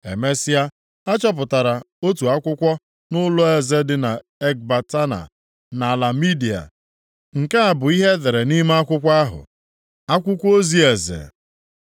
Emesịa, a chọpụtara otu akwụkwọ nʼụlọeze dị na Ekbatana nʼala Midia. Nke a bụ ihe e dere nʼime akwụkwọ ahụ: Akwụkwọ ozi eze;